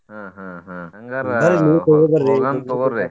ಹ್ಮ್ ಹ್ಮ್ ಹ್ಮ್ ಹಂಗಾರ ಹೋಗೋಣ್ ತೊಗೋರಿ.